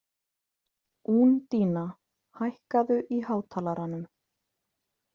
Úndína, hækkaðu í hátalaranum.